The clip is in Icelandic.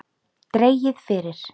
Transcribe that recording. Dregið fyrir.